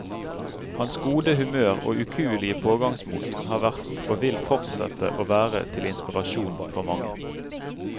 Hans gode humør og ukuelige pågangsmot har vært og vil fortsette å være til inspirasjon for mange.